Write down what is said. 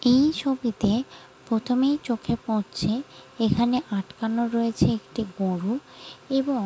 এই ছবি তে প্রথমেই চোখে পড়ছে এখানে আটকানো রয়েছে একটি বড়ো এবং।